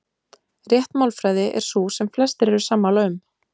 Rétt málfræði er sú sem flestir eru sammála um.